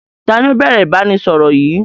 Taàní ó bẹ̀rẹ̀ ìbánisọọ̀rọ̀ yìí?